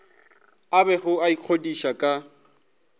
a bego a ikgodiša ka